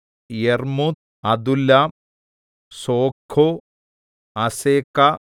യർമ്മൂത്ത് Adullam Socoh Azekah